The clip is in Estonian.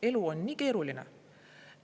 Elu on nii keeruline.